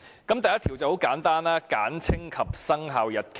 第1條很簡單，是"簡稱及生效日期"。